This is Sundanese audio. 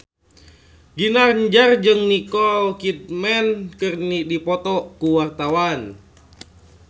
Ginanjar jeung Nicole Kidman keur dipoto ku wartawan